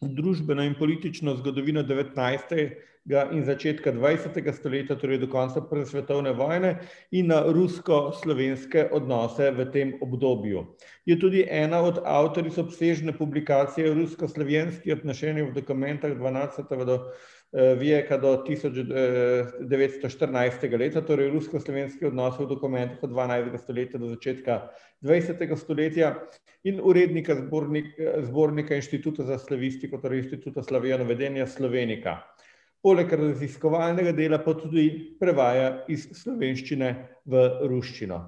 družbeno in politično zgodovino devetnajstega in začetka dvajsetega stoletja, torej do konca prve svetovne vojne, in na rusko-slovenske odnose v tem obdobju. Je tudi ena od avtoric obsežne publikacije Rusko-slovjenske, vijeka do tisoč, devetsto štirinajstega leta, torej Rusko-slovenski odnosi v dokumentih dvanajstega stoletja do začetka dvajsetega stoletja, in urednika zbornika Inštituta za slavistiko, torej Inštituta slovenika. Poleg raziskovalnega dela pa tudi prevaja iz slovenščine v ruščino.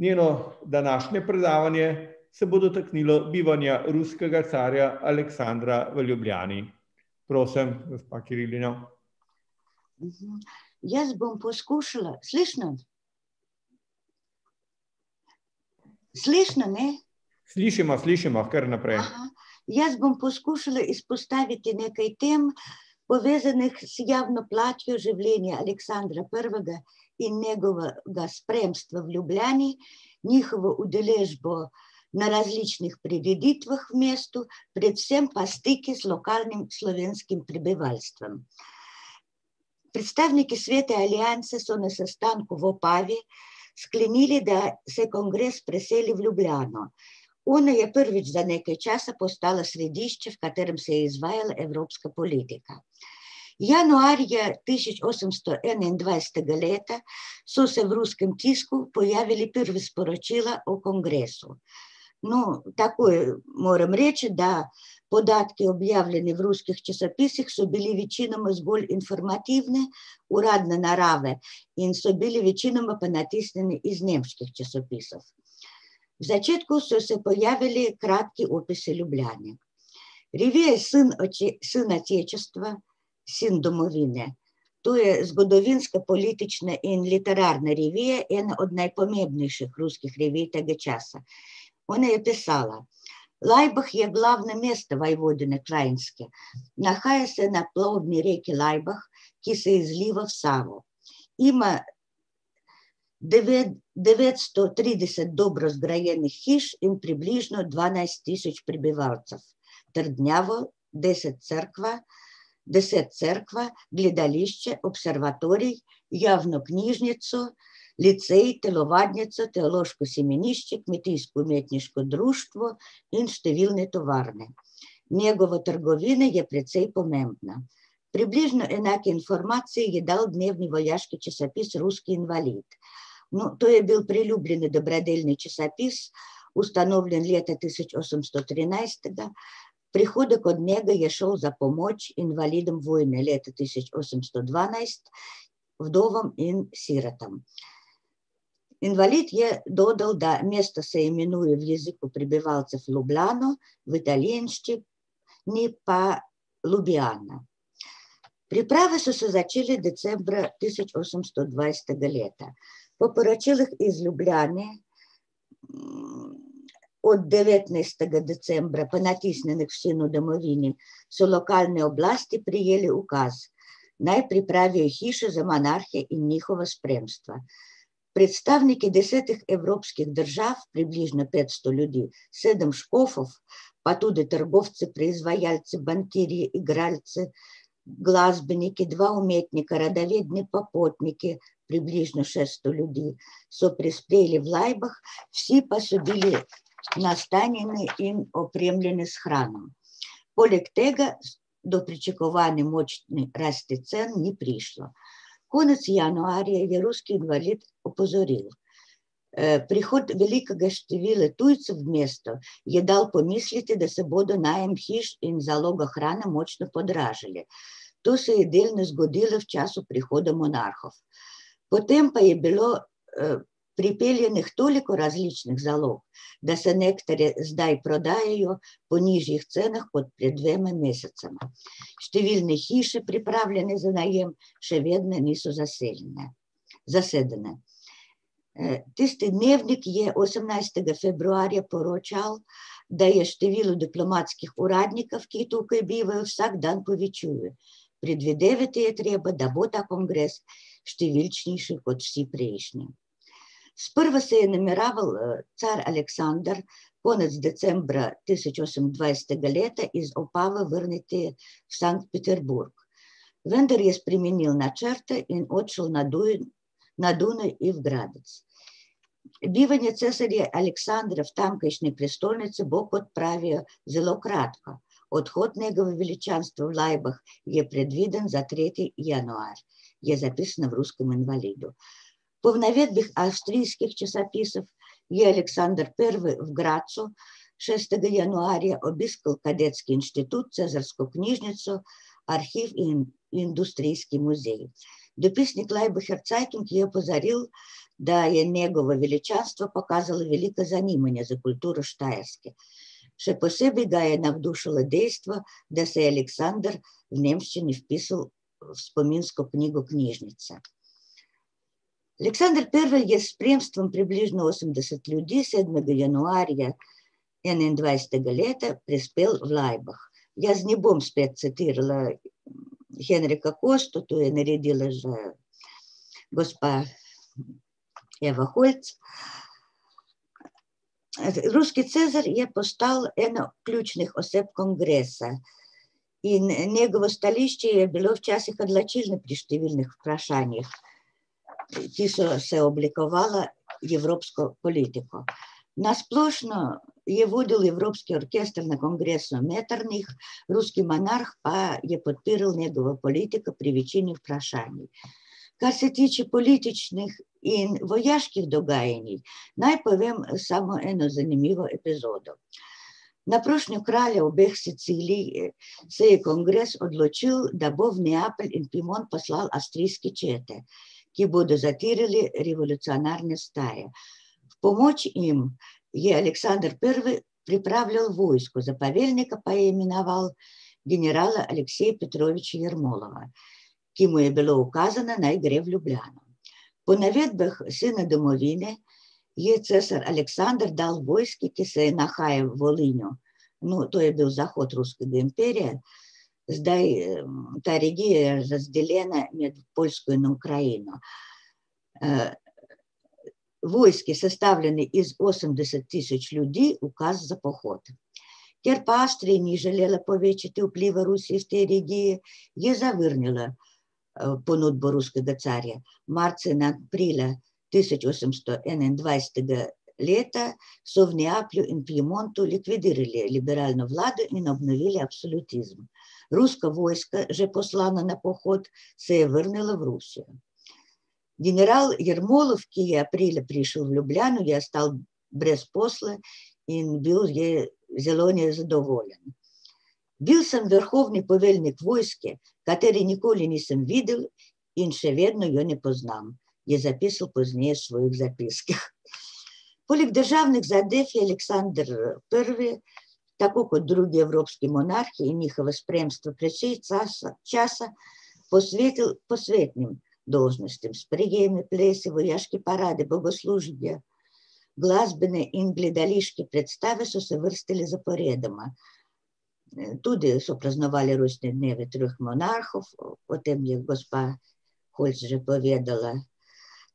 Njeno današnje predavanje se bo dotaknilo bivanja ruskega carja Aleksandra v Ljubljani. Prosim, gospa Kirilina. Jaz bom poskušala, . Slišne me? Slišimo, slišimo, kar naprej. Jaz bom poskušala izpostaviti nekaj tem v zvezi z življenja Aleksandra Prvega in njegovega spremstva v Ljubljani. Njihovo udeležbo na različnih prireditvah v mestu, predvsem pa stiki z lokalnim slovenskim prebivalstvom. Predstavniki Svete alianse so na sestanku sklenili, da se kongres preseli v Ljubljano. Ona je prvič za nekaj časa postala središče, v katerem se je izvajala evropska politika. Januarja tisoč osemsto enaindvajsetega leta so se v ruskem tisku pojavila prva sporočila o kongresu. No, tako moram reči, da podatki, objavljeni v ruskih časopisih so bili večinoma zgolj informativni, uradne narave in so bili večinoma pa natisnjeni iz nemških časopisov. V začetku so se pojavili kratki Ljubljani. Revija Sen domovine. To je zgodovinska, politična in literarna revija, ena od najpomembnejših ruskih revij tega časa. Ona je pisala: Laibach je bila na mestu Vojvodinje Kranjske. Nahaja se na plovni reki Laibach, ki se izliva v Savo. Ima devetsto trideset dobro zgrajenih hiš in približno dvanajst tisoč prebivalcev. Trdnjavo, deset cerkva, deset cerkev, gledališče, observatorij, javno knjižnico, licej, telovadnico, teološko semenišče, kmetijsko-umetniško društvo in številne tovarne. Njegova trgovina je precej pomembna. Približno enake informacije je dal dnevni vojaški časopis, Ruski invalid. No, to je bil priljubljen dobrodelni časopis, ustanovljen leta tisoč osemsto trinajstega, prihodek od njega je šel za pomoč invalidom vojne leta tisoč osemsto dvanajst, vdovam in sirotam. Invalid je , mesto se imenuje z jezikom prebivalcev Ljubljano v pa Ljubljana. Priprave so se začele decembra tisoč osemsto dvajsetega leta. Po poročilih iz Ljubljane, od devetnajstega decembra, ponatisnjene v Sinu domovini, so lokalne oblasti prejele ukaz, naj pripravijo hišo za monarhe in njihova spremstva. Predstavniki desetih evropskih držav, približno petsto ljudi, sedem škofov, pa tudi trgovci, proizvajalci, bankirji, igralci, glasbeniki, dva umetnika, popotniki, približno šesto ljudi so prispeli v Laibach, vsi pa so bili nastanjeni in opremljeni s hrano. Poleg tega do pričakovane ni prišlo. Konec januarja je Ruski invalid opozoril: prihod velika števila tujcev v mesto je dal pomisliti, da se bodo najem hiš in zaloga hrane močno podražili. To se je delno zgodilo v času prihoda monarhov. Potem pa je bilo, pripeljanih toliko različnih zalog, da se nektarji zdaj prodajajo po nižjih cenah kot pred dvema mesecema. Številne hiše, pripravljene za najem, še vedne niso zasedene, zasedene." tisti dnevnik je osemnajstega februarja poročal, da je "število diplomatskih uradnikov, ki tukaj bivajo, vsak dan povečuje". Predvidevati je treba, da bo ta kongres številčnejši kot vsi prejšnji. Sprva se je nameraval car Aleksander konec decembra tisoč osemindvajsetega leta iz vrniti v Sankt Peterburg. Vendar je spremenil načrte in odšel na na Dunaj in Gradec. Bivanje cesarja Aleksandra v tamkajšnji prestolnici bo, kot pravijo, zelo kratko. Odhod njegovega veličanstva v Laibach je predviden za tretji januar," je zapis na Ruskem invalidu. Po navedbah avstrijskih časopisov je Aleksander Prvi v Gradcu šestega januarja obiskal kadetski inštitut, cesarsko knjižnico, arhiv in industrijski muzej. Dopisnik Laibacher Zeitung je opozarjal, da je njegovo veličastvo pokazalo veliko zanimanje za kulturo Štajerske. Še posebej ga je navdušilo dejstvo, da se je Aleksander v nemščini vpisal v spominsko knjigo knjižnice. Aleksander Prvi je v spremstvu približno osemdeset ljudi sedmega januarja enaindvajsetega leta prispeli v Laibach. Jaz ne bom spet citirala Henrika Kosto, to je naredila že gospa Eva Holc . ruski cesar je postal ena ključnih oseb kongresa. In njegovo stališče je bilo včasih odločilno pri številnih vprašanjih. Ta so se oblikovala evropsko politiko. Na splošno je vodil evropski orkester na kongresu Metternich, ruski monarh pa je podpiral njegovo politiko pri večini vprašanj. Kar se tiče političnih in vojaških dogajanj, naj povem samo eno zanimivo epizodo. Na prošnjo kraljev obeh Sicilij se je kongres odločil, da bo v Neapelj in Piemont poslal avstrijske čete, ki bodo zatrle revolucionarne vstaje. Pomoč jim je Aleksander Prvi pripravil vojsko, za poveljnika pa je imenoval generala Alekseja Petrojeviča , ki mu je bilo ukazano, naj gre v Ljubljano. Po navedbah Sina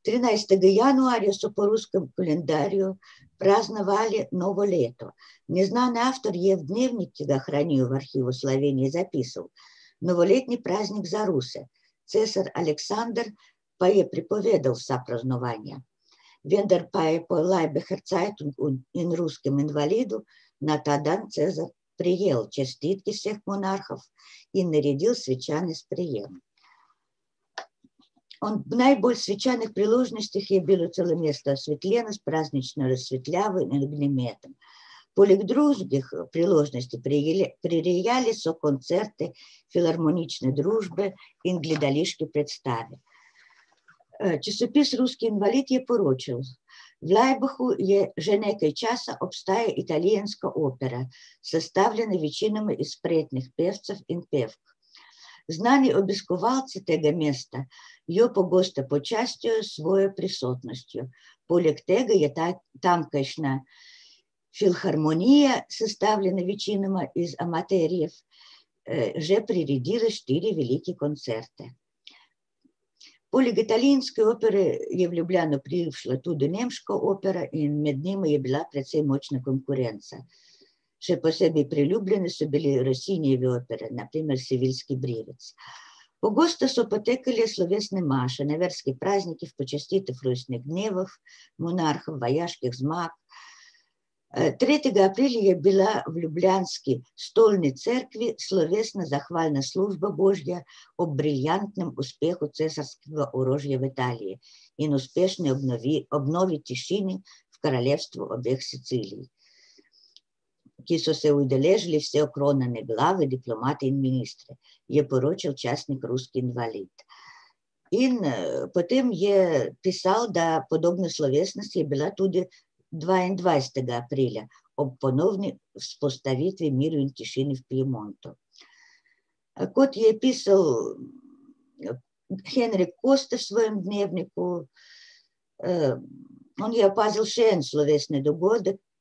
domovine je cesar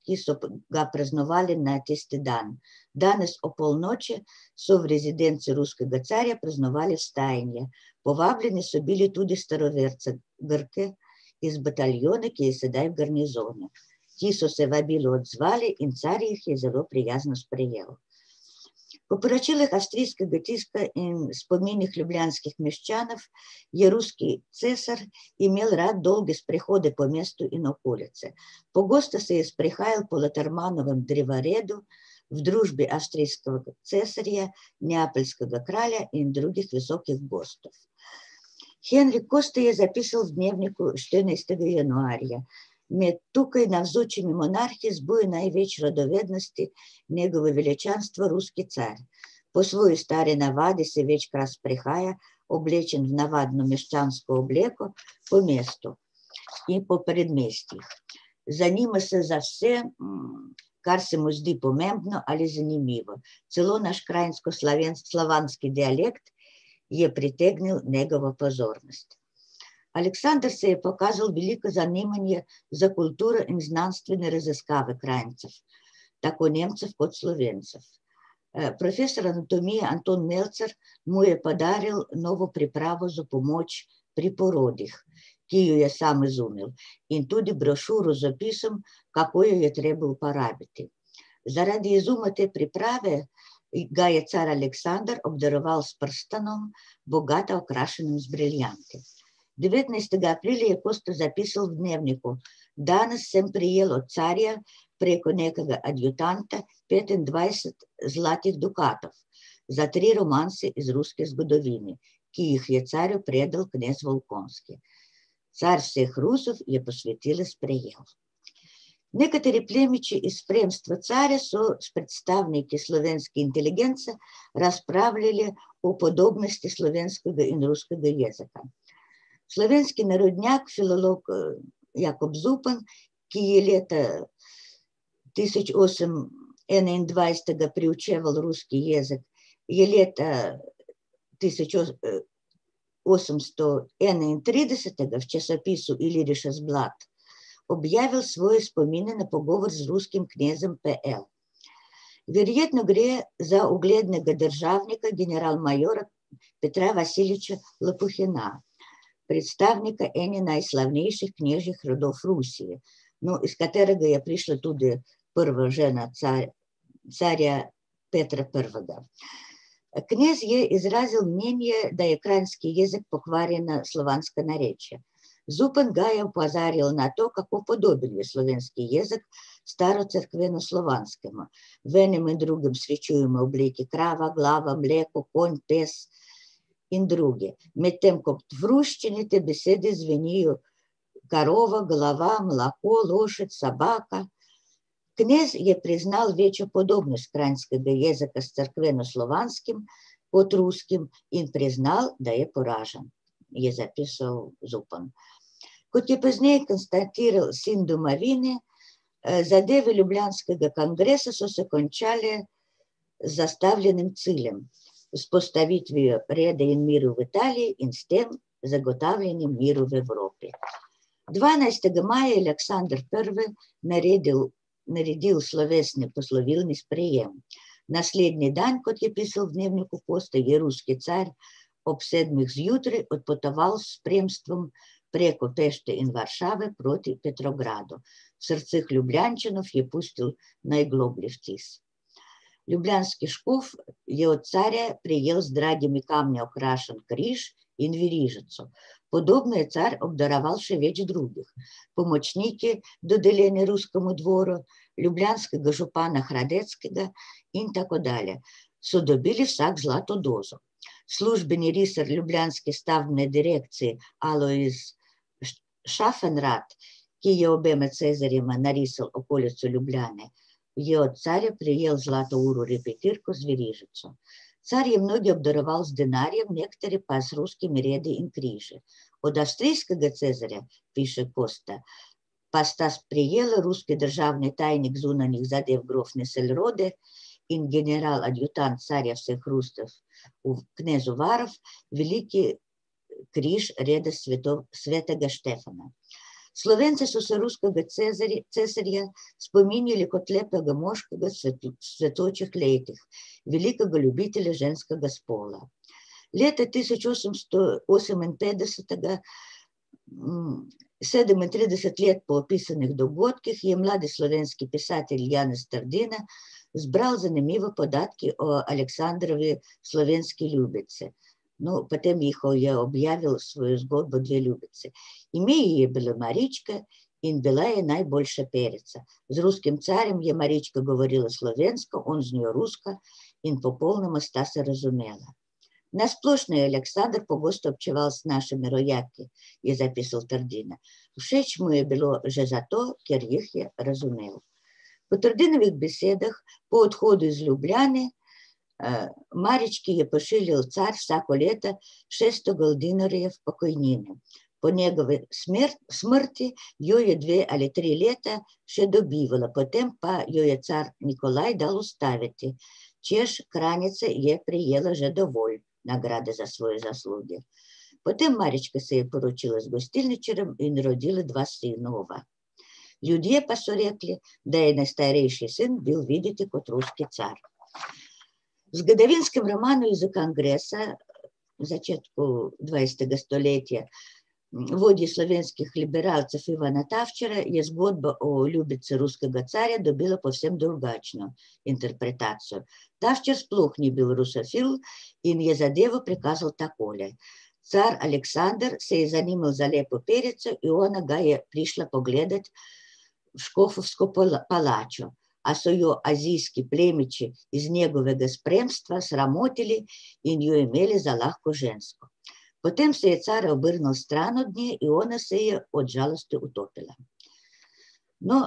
Aleksander dal vojski, ki se je nahajala v , no, to je bil zahod ruskega imperija. Zdaj ta regija razdeljena je krajino. vojske, sestavljene iz osemdeset tisoč ljudi, ukaz za pohod. Ker pa ni želela povečati vpliva ruskih , je zavrnila, ponudbo ruskega carja. Marca in aprila tisoč osemsto enaindvajsetega leta so v Neaplju in Piemontu likvidirali liberalno vlado in obnovili absolutizem. Ruska vojska, že poslana na pohod, se je vrnila v Rusijo. General Jermolov, ki je prišel v Ljubljano, je ostal brez posla in bil je zelo nezadovoljen. "Bil sem vrhovni poveljnik vojske, katere nikoli nisem videl in še vedno jo ne poznam," je zapisal pozneje v svojih zapiskih. Poleg državnih zadev je Aleksander Prvi tako kot drugi evropski monarhi in njihovo spremstvo precej časa posvetil posvetnim dolžnostim, sprejemi, plesi, vojaške parade, bogoslužje, glasbene in gledališke predstave so se vrstile zaporedoma. tudi so praznovali rojstne dneve treh monarhov, o tem je gospa Holc že povedala. Trinajstega januarja so po ruskem koledarju praznovali novo leto. Neznan avtor je v dnevnik, ki ga hranijo v Arhivu Slovenije, zapisal: "Novoletni praznik za Ruse. Cesar Aleksander pa je prepovedal vsa praznovanja." Vendar pa je po Laibacher Zeitungu in Ruskem invalidu na ta dan cesar prejel čestitke vseh monarhov in naredil svečan sprejem. Ob najbolj svečanih priložnostih je bilo celo mesto osvetljeno s praznično razsvetljavo in . Poleg drugih priložnostih prirejali so koncerte Filharmonične družbe in gledališke predstave. časopis Ruski invalid je poročal: V Laibachu je že nekaj časa obstaja italijanska opera, sestavljena večinoma iz spretnih pevcev in pevk. Znani obiskovalci tega mesta jo pogosto počastijo s svojo prisotnostjo. Poleg tega je tamkajšnja filharmonija, sestavljena večinoma iz amaterjev, že priredila štiri velike koncerte. Poleg italijanske opere je v Ljubljano prišla tudi nemška opera in med njimi je bila precej močna konkurenca. Še posebej priljubljene so bile Rossinijeve opere, na primer Seviljski brivec. Pogosto so potekale slovesne maše na verskih praznikih po dnevih, monarhov, vojaških zmag. tretjega aprila je bila v ljubljanski stolni cerkvi slovesna zahvalna služba božja ob briljantnem uspehu cesarskega orožja v Italiji in uspešne ob novi, ob novi tišini kraljestvo obeh Sicilij, ki so se udeležili vse okronane glave, diplomati in ministri," je poročal časnik Ruski invalid. In, potem je pisalo, da podobna slovesnost je bila tudi dvaindvajsetega aprila ob ponovni vzpostavitvi miru in tišini v Piemontu. kot je pisal, Henrik Kosta v svojem dnevniku, on je opazil še en slovesni dogodek, ki so ga praznovali na tisti dan. Danes ob polnoči so v rezidenci ruskega carja praznovali . Povabljeni so bili tudi staroverci, Grki, iz bataljona, ki je sedaj v garnizonu, ki so se vabilu odzvali, in car jih je zelo prijazno sprejel. Ob poročilih avstrijskega tiska in spominih ljubljanskih meščanov je ruski cesar imel rad dolge sprehode po mestu in okolici. Pogosto se je sprehajal po Latermanovem drevoredu v družbi avstrijskega cesarja, Neapeljskega kralja in drugih visokih gostov. Henrik Kosta je zapisal v dnevniku štirinajstega januarja: "Med tukaj navzočimi monarhi zbujajo največ radovednosti njegovo veličanstvo ruski car. Po svoji stari navadi se večkrat sprehaja oblečen v navadno meščansko obleko po mestu in po predmestjih. Zanima se za vse, kar se mu zdi pomembno ali zanimivo. Celo naš kranjsko-slavjen() -slovanski dialekt je pritegnil njegovo pozornost. Aleksander se je pokazal veliko zanimanje za kulturo in znanstvene raziskave Kranjcev, tako Nemcev kot Slovencev. profesor anatomije Anton Mercer mu je podarjal novo pripravo za pomoč pri porodih, ki jo je sam izumil, in tudi brošuro z opisom, kako jo je treba uporabiti. Zaradi izuma te priprave ga je car Aleksander obdaroval s prstanom, bogata okrašena z briljanti. Devetnajstega aprila je Kosta zapisal v dnevniku: "Danes sem prejel od carja preko nekega petindvajset zlatih dukatov za tri romance iz ruske zgodovine, ki jih je car . Car vseh Rusov je posvetilo sprejel." Nekateri plemiči iz plemstva carja so s predstavniki slovenske inteligence razpravljali o podobnosti slovenskega in ruskega jezika. Slovenski narodnjak, filolog, Jakob Zupan, ki je leta tisoč osem enaindvajsetega preučeval ruski jezik, je leta tisoč osemsto enaintridesetega v časopisu Illyrisches Blatt objavil svoje spomine na pogovor z ruskim knezom . Verjetno gre za uglednega državnika, general major Petra Vasiliča , predstavnika ene najslavnejših knežjih rodov Rusije. No, iz katerega je prišla tudi prva žena carja Petra Prvega. Knez je izrazil mnenje, da je kranjski jezik pokvarjeno slovansko narečje. Zupan ga je opozarjal na to, kako podoben je slovenski jezik starocerkvenoslovanskemu. V enem in drugem srečujemo oblike krava, glava, mleko, konj, pes in druge. Medtem ko v ruščini te besede zvenijo korova, golova, moloko, lošad, sobaka. Knez je priznal večjo podobnost kranjskega jezika s cerkvenoslovanskim kot ruskim in priznal, da je poražen, je zapisal Zupan. Kot je pozneje Sin domovine, zadeve ljubljanskega kongresa so se končale z zastavljenim ciljem. Z vzpostavitvijo reda in miru v Italiji in s tem zagotavljanje miru v Evropi. Dvanajstega maja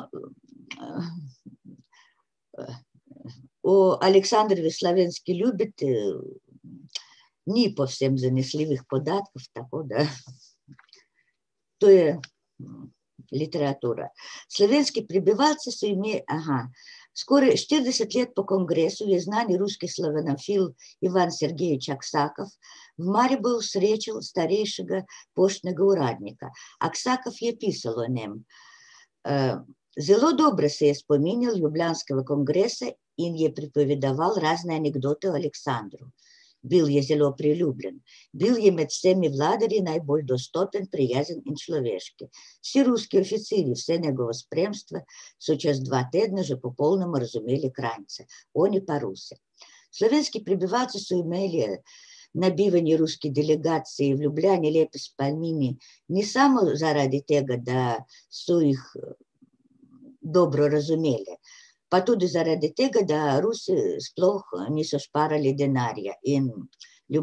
je Aleksander Prvi naredil, naredil slovesni poslovilni sprejem. Naslednji dan, kot je pisal v dnevniku Kosta, je ruski car ob sedmih zjutraj odpotoval s spremstvom preko Pešte in Varšave proti Petrogradu. V srcih Ljubljančanov je pustil najgloblji vtis. Ljubljanski škof je od carja prejel z dragimi kamni okrašen križ in verižico. Podobno je car obdaroval še več drugih. Pomočniki, dodeljeni ruskemu dvoru, ljubljanskega župana Hradetskega in tako dalje so dobili vsak zlato dozo. Službeni risar ljubljanske stavbne direkcije Alojz Schaffenrat, ki je obema cesarjema narisal okolico Ljubljane, je od carja prejel zlato uro repetirko z verižico. Car je mnoge obdaroval z denarjem, nekatere pa z ruskimi redi in križi. Od avstrijskega cesarja, piše Kosta, pa sta sprejela ruski državni tajnik zunanjih zadev grof in general v knezovar veliki križ reda svetega Štefana. Slovenci so se ruskega cesarja spominjali kot lepega moškega v cvetočih letih, velikega ljubitelja ženskega spola. Leta tisoč osemsto oseminpetdesetega, sedemintrideset let po opisanih dogodkih je mladi slovenski pisatelj Janez Trdina zbral zanimive podatke o Aleksandrovi slovenski ljubici. No, potem je objavil svojo zgodbo Dve ljubici. Ime ji je bilo Marička in bila je najboljša perica. Z ruskim carjem je Marička govorila slovensko, on z njo rusko in popolnoma sta se razumela. Na splošno je Aleksander pogosto občeval z našimi rojaki, je zapisal Trdina. Všeč mu je bilo že zato, ker jih je razumel. Po Trdinovih besedah o odhodu iz Ljubljane, Marički je pošiljali car vsako leto šeststo goldinarjev pokojnine. Po njegovi smrti jo je dve ali tri leta še dobivala, potem pa jo je car Nikolaj dal ustaviti, češ, Kranjica je prejela že dovolj nagrade za svoje zasluge. Potem Marička se je poročila z gostilničarjem in rodila dva sinova. Ljudje pa so rekli, da je najstarejši sin bil videti kot ruski car. V zgodovinskem romanu Izza kongresa v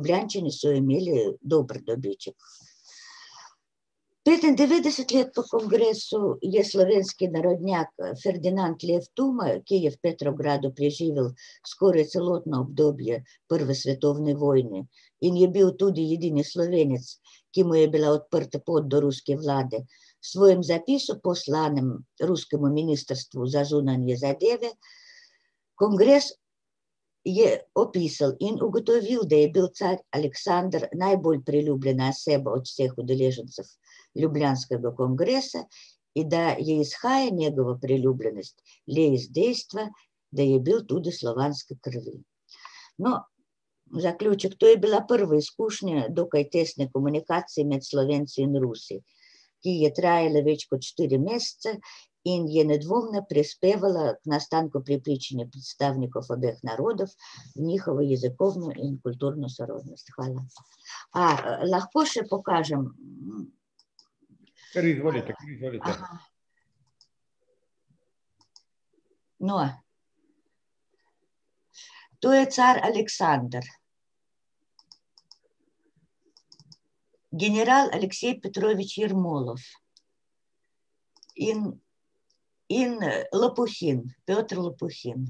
začetku dvajsetega stoletja vodje slovenskih liberalcev, Ivana Tavčarja, je zgodba o ljubici ruskega carja dobila povsem drugačno interpretacijo. Tavčar sploh ni bil rusofil in je zadevo prikazal takole: "Car Aleksander se je zanimalo za lepo perico in ona ga je prišla pogledat v škofovsko palačo, a so jo azijski plemiči iz njegovega spremstva sramotili in jo imeli za lahko žensko. Potem se je car obrnil stran od nje in ona se je od žalosti utopila." No, o Aleksandrovi slovenski ljubici ni povsem zanesljivih podatkov, tako da to je literatura. Slovenski prebivalci so ... Skoraj štirideset let po kongresu je znani ruski slovanofil Ivan Sergilič Aksakov v Mariboru srečal starejšega poštnega uradnika. Aksakov je pisal o njem. zelo dobro se je spominjal ljubljanskega kongresa in je pripovedoval razne anekdote o Aleksandru. Bil je zelo priljubljen. Bil je med vsemi vladarji najbolj dostopen, prijazen in človeški. Vsi ruski oficirji, vsa njegova spremstva so čez dva tedna že popolnoma razumeli Kranjce, oni pa Ruse. Slovenski prebivalci so imeli na bivanje ruskih delegacij v Ljubljani lepe spomine ne samo zaradi tega, da so jih dobro razumeli. Pa tudi zaradi tega, da Rusi sploh niso šparali denarja, in Ljubljančani so imeli dober dobiček. Petindevetdeset let po kongresu je slovenski narodnjak Ferdinand , ki je v Petrogradu preživel skoraj celotno obdobje prve svetovne vojne in je bil tudi edini Slovenec, ki mu je bila odprta pot do ruske vlade, s svojim zapisom, poslanim ruskemu ministrstvu za zunanje zadeve, kongres je opisal in ugotovili, da je bil car Aleksander najbolj priljubljena oseba od vseh udeležencev ljubljanskega kongresa in da je izhaja njegove priljubljenosti le iz dejstva, da je bil tudi slovanske krvi. No, zaključek, to je bila prva izkušnja dokaj testne komunikacije med Slovenci in Rusi, ki je trajala več kot štiri mesece in je nedvomno prispevala k nastanku predstavnikov obeh narodov, njihovo jezikovno in kulturno sorodnost. Hvala. A lahko še pokažem ... Kar izvolite, kar izvolite. No ... To je car Aleksander. General Aleksej Petrojevič Jermolov. In, in, Lopohin. Lopohin.